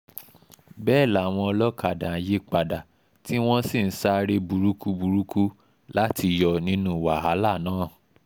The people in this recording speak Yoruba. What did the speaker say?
bẹ́ẹ̀ làwọn olókàdá ń yípadà tí wọ́n sì ń sáré burúkú burúkú láti yọ̀ nínú wàhálà náà